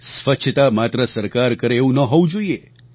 સ્વચ્છતા માત્ર સરકાર કરે એવું ન હોવું જોઇએ